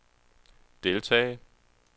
deltage